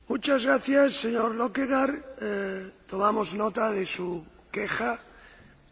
Tomamos nota de su queja y se tomarán las medidas oportunas.